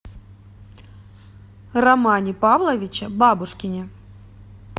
романе павловиче бабушкине